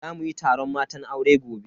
Za muyi taron matan aure gobe.